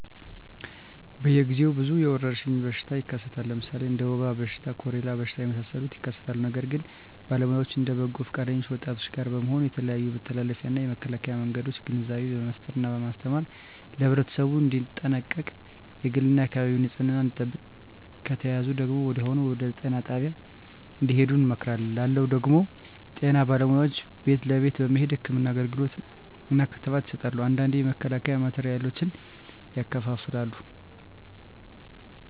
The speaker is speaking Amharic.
በየ ግዜው ብዙ የወረሽኝ በሽታ ይከሰታል ለምሣሌ እንደ ወባ በሽታ ኮሪላ በሽታ የመሣሠሉት ይከሠታሉ ነገር ግን በባለውያዎች እነ በበጎ ፈቃደኞች ወጣቶች ጋር በመሆን የተለያዮ የመተላለፊያ እና የመከላኪያ መንገዶችን ግንዛቤ በመፍጠር እና በማስተማር ለህብረተሠቡ እንዲጠነቀቅ የግል እና የአካባቢውን ንፅህና እንዲጠብቅ ከተያዙ ደግሞ ወዲያሁኑ ወደጤና ጣቢያ እንድሄዱ እንመክራለን ላለው ደግም ጤና ባለሙያዎች ቤት ለቤት በመሄድ ህክምና አገልግሎት እና ክትባት ይሠጣሉ አንዳንዴ የመከላከያ ማቴሪያሎችን ያከፋፍላሉ